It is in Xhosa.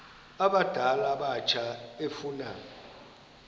abadala abatsha efuna